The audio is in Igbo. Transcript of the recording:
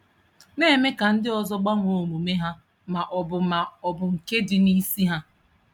Na-eme ka ndị ọzọ gbanwee omume ha ma ọ bụ ma ọ bụ nke dị n'isi ha.